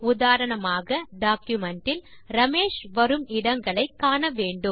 உதாரணமாக டாக்குமென்ட் இல் ரமேஷ் வரும் இடங்களை காண வேண்டும்